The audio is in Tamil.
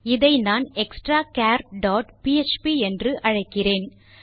இதை நான் எக்ஸ்ட்ராச்சர் டாட் பிஎச்பி என்று அழைக்கிறேன்